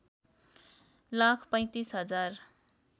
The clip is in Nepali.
लाख ३५ हजार